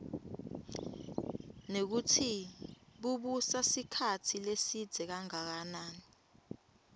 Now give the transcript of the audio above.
nekutsi bubusa sikhatsi lesidze kangakanani